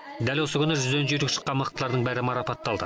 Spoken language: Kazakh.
дәл осы күні жүзден жүйрік шыққан мықтылардың бәрі марапатталды